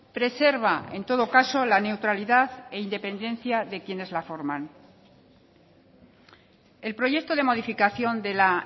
preserva en todo caso la neutralidad e independencia de quienes la forman el proyecto de modificación de la